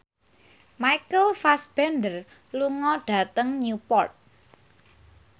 Michael Fassbender lunga dhateng Newport